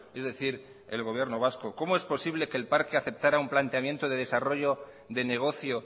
es decir el gobierno vasco cómo es posible que el parque aceptará un planteamiento de desarrollo de negocio